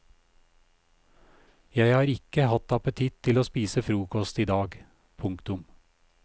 Jeg har ikke hatt appetitt til å spise frokost i dag. punktum